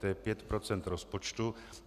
To je pět procent rozpočtu.